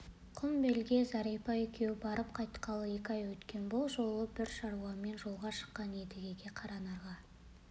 құмбелге зәрипа екеуі барып қайтқалы екі ай өткен бұл жолы бір шаруамен жолға шыққан едіге қаранарға